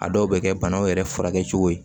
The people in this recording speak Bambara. A dɔw bɛ kɛ banaw yɛrɛ furakɛ cogo ye